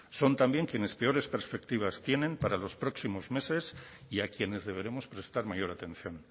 son también quienes peores perspectivas tienen para los próximos meses y a quienes deberemos prestar mayor atención